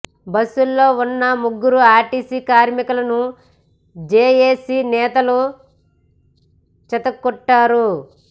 బస్సులో ఉన్న ముగ్గురు ఆర్టీసీ కార్మికులను జేఎసీ నేతలు చితక్కొట్టారు